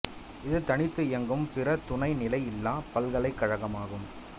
இது தனித்து இயங்கும் பிற துணைநிலையில்லாப் பல்கலைக் கழகம் ஆகும்